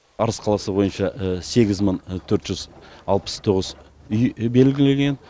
арыс қаласы бойынша сегіз мың төрт жүз алпыс тоғыз үй белгіленген